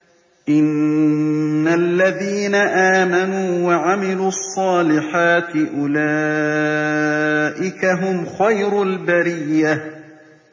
إِنَّ الَّذِينَ آمَنُوا وَعَمِلُوا الصَّالِحَاتِ أُولَٰئِكَ هُمْ خَيْرُ الْبَرِيَّةِ